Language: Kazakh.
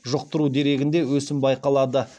жұқтыру дерегінде өсім байқалады